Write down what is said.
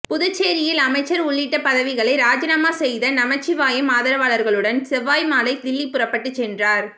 புதுச்சேரியில் அமைச்சர் உள்ளிட்ட பதவிகளை ராஜினாமா செய்த நமச்சிவாயம் ஆதரவாளர்களுடன் செவ்வாய் மாலை தில்லி புறப்பட்டுச் சென்றார்